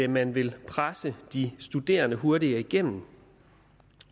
man vil presse de studerende hurtigere igennem